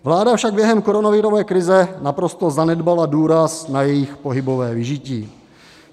Vláda však během koronavirové krize naprosto zanedbala důraz na jejich pohybové vyžití.